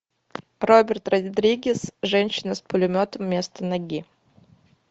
роберт родригес женщина с пулеметом вместо ноги